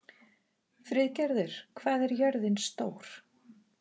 Friðgerður, hvað er jörðin stór?